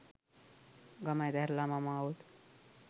ගම අතහැරලා මම ආවොත්